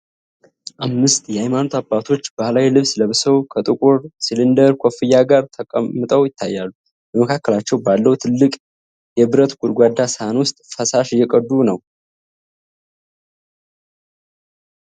አምስት የሃይማኖት አባቶች ባህላዊ ልብስ ለብሰው፣ ከጥቁር ሲሊንደር ኮፍያ ጋር ተቀምጠው ይታያሉ። በመካከላቸው ባለው ትልቅ የብረት ጎድጓዳ ሳህን ውስጥ ፈሳሽ እየቀዱ ነው።